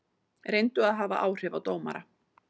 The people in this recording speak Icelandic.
Reyndu að hafa áhrif á dómara